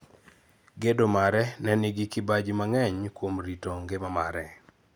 Gedo mare ne nigi kibaji mang'eny kuom rito ngima mare.